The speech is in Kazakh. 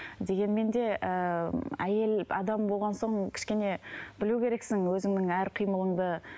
дегенмен де ыыы әйел адам болған соң кішкене білу керексің өзіңнің әр қимылыңды